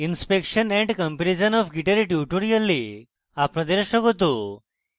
inspection and comparison of git এর tutorial আপনাদের স্বাগত